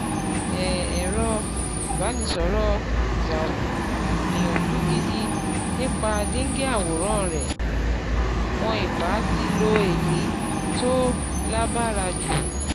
èẸ̀rọ ìbánisọ̀rọ̀ Xiaomi gbìyànjú gidi nípa díngí àwòrán rẹ̀, wọn ì bá ti lo èyí tó láhbára jù